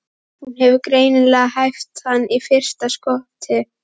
Hún hefur greinilega hæft hann í fyrsta skoti.